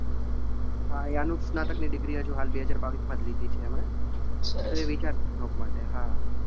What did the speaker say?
હા એ અનુસ્નાતકની degree હજુ હાલ બે હજાર બાવીસ માં જ લીધી છે એમણે, એટલે વિચાર છે job માટે હા.